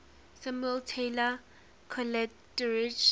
samuel taylor coleridge